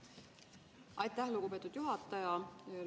Aitäh, lugupeetud juhataja!